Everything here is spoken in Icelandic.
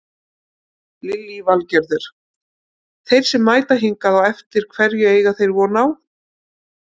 Lillý Valgerður: Þeir sem mæta hingað á eftir hverju eiga þeir von á?